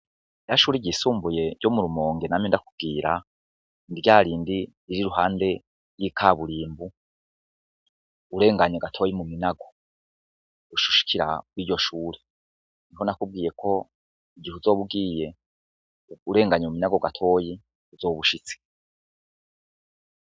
Rya shure ryisumbuye ryo murumonge namye ndakubwira, ryarindi rir'iruhande yikaburimbo, urenganye gatoya muminago, ucushikira kwiryo shure, niko nakubwiye ko igihe uzoba ugiye urenganye minago gatoya uzoba ushitse .